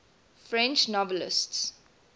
french novelists